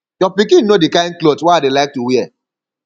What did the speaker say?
your pikin know the kin cloth wey i dey like to wear